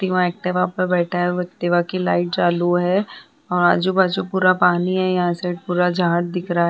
Activa पे बैठा है। एक्टिवा की लाइट चालु है और आजू-बाजू पूरा पानी है। यहाँ साइड पूरा झाड दिख रहा है ।